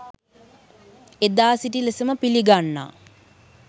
එදා සිටි ලෙසම පිළිගන්නා